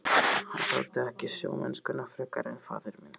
Hann þoldi ekki sjómennskuna frekar en faðir minn.